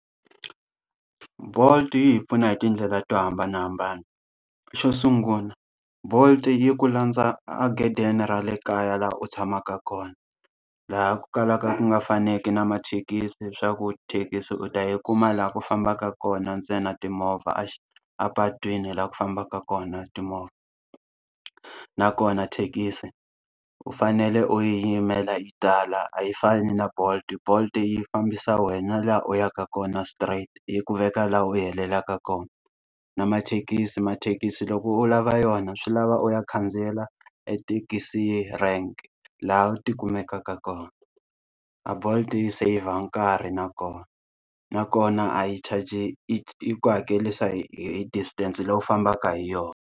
Bolt yi hi pfuna hi tindlela to hambanahambana. Xo sungula Bolt yi ku landza aghedeni ra le kaya laha u tshamaka kona, laha ku kalaka ku nga faneki na mathekisi swa ku thekisi u ta yi kuma laha ku fambaka kona ntsena timovha a xi a patwini laha ku fambaka kona timovha. Nakona thekisi u fanele u yimela yi tala a yi fani na Bolt, Bolt yi fambisa wena laha u yaka kona straight yi ku veka laha u helelaka kona. Na mathekisi, mathekisi loko u lava yona swi lava u ya khandziyela etithekisi rank laha u ti kumekaka kona, a Bolt yi seyivha nkarhi nakona. Nakona a yi charge-i yi ku hakerisa hi hi distance leyi u fambaka hi yona.